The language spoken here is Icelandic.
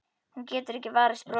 Hún getur ekki varist brosi.